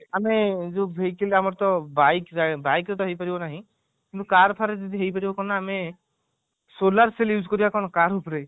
ନାଇଁ ଯୋଉ vehicle ଆମର ତ biki biki ର ତ ହେଇ ପାରିବ ନାହିଁ କିନ୍ତୁ car ଫାର ଯଦି ହେଇ ପାରିବ କଣ ନା ଆମେ solar shell use କରିବା ଆମେ car ଉପରେ